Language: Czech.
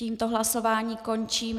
Tímto hlasování končím.